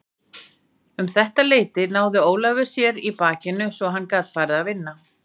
Um þetta leyti náði Ólafur sér svo í bakinu að hann gat farið að vinna.